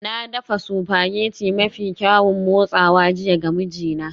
Na dafa spaghetti mafi kyaun motsawa jiya ga mijina